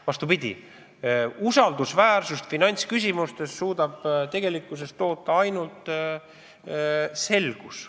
Vastupidi, usaldusväärsust finantsküsimustes saab tegelikkuses toota ainult selgus.